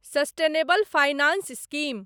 sustainable finance scheme